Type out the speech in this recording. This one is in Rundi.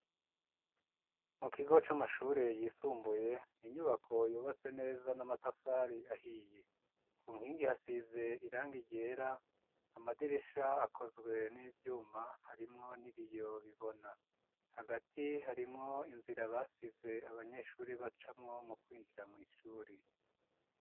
Mu kigo, c'amashure yisumbuye, ni inyubako, yubatse neza, n'amatafari ahiye; ku nkingi, hasize irangi ryera; amadirisha, akozwe n'ivyuma, harimwo n'ibiyo bibona; hagati, harimwo inzira, basize, abanyeshuri, bacamo mu kwinjira, mw'ishuri.